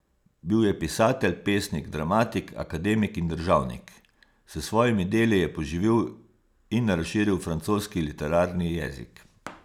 Bil je pisatelj, pesnik, dramatik, akademik in državnik, s svojimi deli je poživil in razširil francoski literarni jezik.